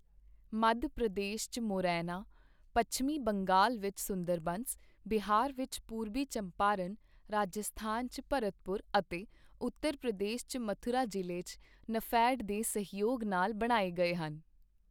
ਮੱਧ ਪ੍ਰਦੇਸ਼ ਚ ਮੋਰੈਨਾ, ਪੱਛਮੀ ਬੰਗਾਲ ਵਿਚ ਸੁੰਦਰਬੰਸ, ਬਿਹਾਰ ਵਿਚ ਪੂਰਬੀ ਚੰਪਾਰਨ, ਰਾਜਸਥਾਨ ਚ ਭਰਤਪੁਰ ਅਤੇ ਉੱਤਰ ਪ੍ਰਦੇਸ਼ ਚ ਮਥੁਰਾ ਜ਼ਿਲੇ ਚ ਨੇਫ਼ੇਡ ਦੇ ਸਹਿਯੋਗ ਨਾਲ ਬਣਾਏ ਗਏ ਹਨ।